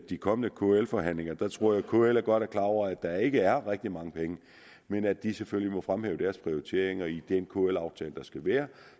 de kommende kl forhandlinger at jeg tror at kl godt er klar over at der ikke er rigtig mange penge men at de selvfølgelig må fremhæve deres prioriteringer i den kl aftale der skal være